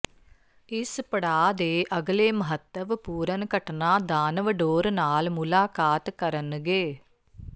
ਇਸ ਪੜਾਅ ਦੇ ਅਗਲੇ ਮਹੱਤਵਪੂਰਨ ਘਟਨਾ ਦਾਨਵ ਡੋਰ ਨਾਲ ਮੁਲਾਕਾਤ ਕਰਨਗੇ